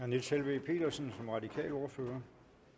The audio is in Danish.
niels helveg petersen som radikal ordfører